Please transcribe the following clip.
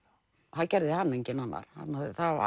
það gerði hana enginn annar